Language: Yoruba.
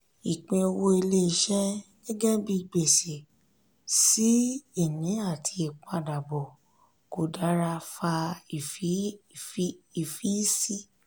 ìpín owó ilé-iṣẹ́ gẹ́gẹ́ bi gbèsè-sí-ini àti ìpadabọ̀ kò dára fa ìfiysi.